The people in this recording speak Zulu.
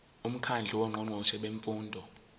umkhandlu wongqongqoshe bemfundo